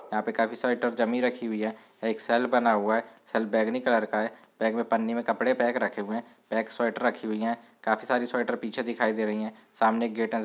यहाँ पे काफी सारी ट्रक जमी रखी हुयी है। एक सेल बना हुवा है सेल बैंगनी कलर का है। बैग में पन्नी में कपडे पैक रखे हुए है बैग रखी हुयी है खाफी सारी स्वेटर पीछे दिखाइ दे रहीं है । सामने एक गेट नजर --